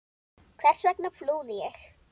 Hvers vegna flúði ég?